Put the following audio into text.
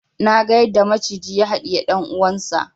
Naga yadda maciji ya haɗiyi dan uwansa